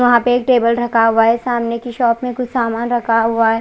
यहाँ पर एक टेबल रखा हुआ है सामने की शॉप में कुछ सामन रखा हुआ है।